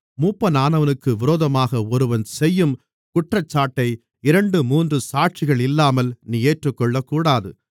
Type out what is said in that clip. மூப்பனானவனுக்கு விரோதமாக ஒருவன் செய்யும் குற்றச்சாட்டை இரண்டு மூன்று சாட்சிகள் இல்லாமல் நீ ஏற்றுக்கொள்ளக்கூடாது